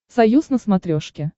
союз на смотрешке